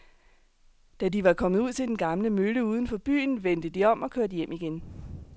Da de var kommet ud til den gamle mølle uden for byen, vendte de om og kørte hjem igen.